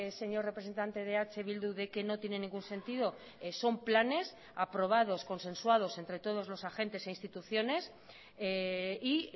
señor representante de eh bildu de que no tiene ningún sentido son planes aprobados consensuados entre todos los agentes e instituciones y